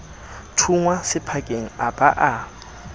thunngwa sephakeng a ba a